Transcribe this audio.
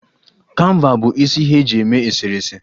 Kanva bụ isi ihe e ji eme eserese